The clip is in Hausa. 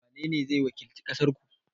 wanene zai wakilci ƙasar ku?